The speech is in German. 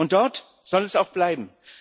Und dort soll sie auch bleiben.